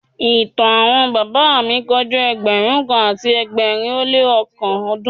Ìtàn àwọn bàbá mi kọjá ẹgbẹ̀rún kan àti ẹgbẹ̀rin ó lé oókan ọdún.